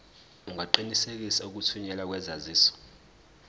ungaqinisekisa ukuthunyelwa kwesaziso